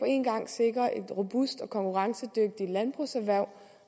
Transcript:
en gang at sikre et robust og konkurrencedygtigt landbrugserhverv